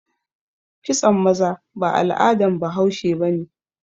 Kitson maza ba al'adan bahaushe ba ne.